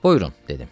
Buyurun, dedim.